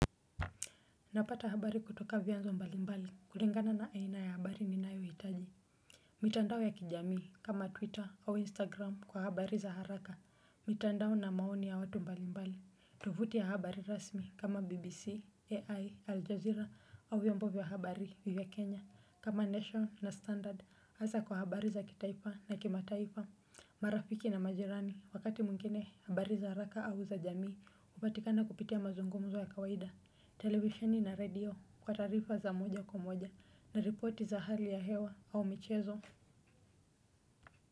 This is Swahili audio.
Napata habari kutoka vyanzo mbalimbali kulingana na aina ya habari ninayohitaji. Mitandao ya kijamii kama twitter au instagram kwa habari za haraka. Mitandao na maoni ya watu mbalimbali. Tofuti ya habari rasmi kama bbc ai al jazeera au vyombo vya habari vya kenya. Kama nation na standard hasa kwa habari za kitaifa na kimataifa. Marafiki na majirani wakati mwingine habari za haraka au za jamii hupatikana kupitia mazungumzo ya kawaida. Televisheni na redio kwa taarifa za moja kwa moja na ripoti za hali ya hewa au michezo.